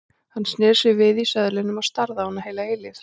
Hann sneri sér við í söðlinum og starði á hana heila eilífð.